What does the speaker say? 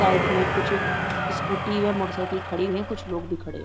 Side में कुछ scooty और मोटर साइकिल खड़ी है व कुछ लोग भी खड़े हैं।